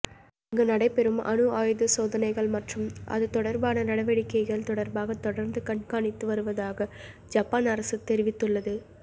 அங்கு நடைபெறும் அணு ஆயுதச் சோதனைகள் மற்றும் அதுதொடர்பான நடவடிக்கைகள் தொடர்பாக தொடர்ந்து கண்காணித்து வருவதாக ஜப்பான் அரசு தெரிவித்துள்ளது